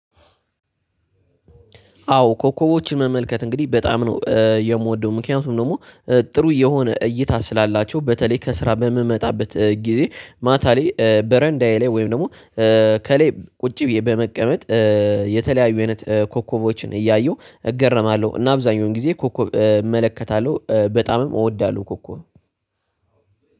አዎ ኮኮቦችን መመልከት እንግዲህ በጣም ነው የምወደው። ምክንያቱም ደግሞ ጥሩ የሆነ እይታ ስላላቸው በተለይ ከስራ በምመጣበት ጊዜ ማታ ላይ በረንዳዬ ላይ ወይም ደግሞ ከላይ ቁጭ ብዬ በመቀመጥ። የተለያዩ አይነት ኮከቦችን እያየሁ እገረማለሁ እና አብዛኛውን ጊዜ ኮከብ እመለከታለሁ በጣምም እወዳለሁ። ኮከብ